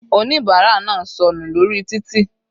Oníbárà náà sọnù lórí títì.